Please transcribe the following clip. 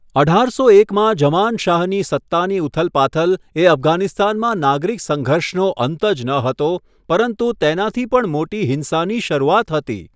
અઢારસો એકમાં ઝમાન શાહની સત્તાની ઉથલપાથલ એ અફઘાનિસ્તાનમાં નાગરિક સંઘર્ષનો અંત જ ન હતો, પરંતુ તેનાથી પણ મોટી હિંસાની શરૂઆત હતી.